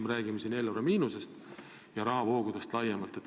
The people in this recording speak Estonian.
Ma pean silmas eelarve miinust ja rahavoogusid laiemalt.